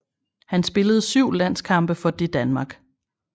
Han spillede syv landskampe for det Danmark